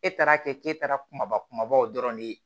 E taara kɛ ke taara kumaba kumabaw dɔrɔn de ye